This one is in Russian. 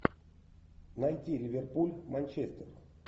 найти ливерпуль манчестер